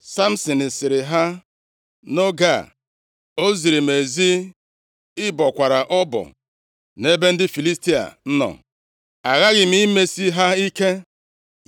Samsin sịrị ha, “Nʼoge a, o ziri m ezi ị bọkwara ọbọ nʼebe ndị Filistia nọ.” Aghaghị m imesi ha ike.